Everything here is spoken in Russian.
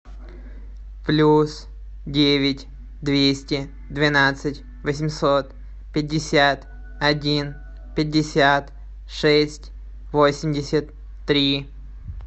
плюс девять двести двенадцать восемьсот пятьдесят один пятьдесят шесть восемьдесят три